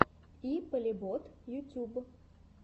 и полебот ютуб